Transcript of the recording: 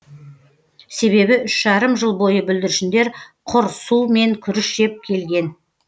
себебі үш жарым жыл бойы бүлдіршіндер құр су мен күріш жеп келген